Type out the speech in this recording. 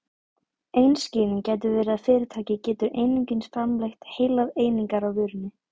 ein skýring gæti verið að fyrirtæki getur einungis framleitt heilar einingar af vörunni